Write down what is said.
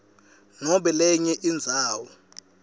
nobe lenye indzawo